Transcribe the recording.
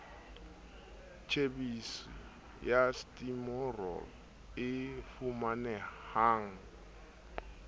tjhepisi ya stimorol e fumanehang